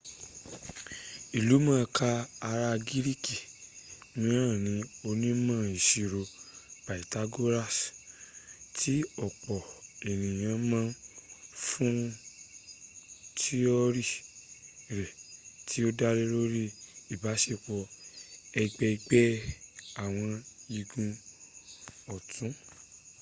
ìlú mọ̀ká ará gíríkì mìíràn ni onímọ̀-ìṣirò pythagoras tí ọ̀pọ̀ ènìyàn mọ̀ fún tíọ́rì rẹ̀ tí o dálórí ìbáṣepọ̀ ẹ̀gbẹ̀gbẹ́ àwọn igun ọ̀tún